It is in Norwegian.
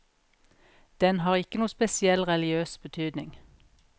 Den har ikke noen spesiell religiøs betydning.